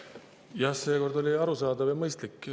Jah, seekord oli arusaadav ja mõistlik.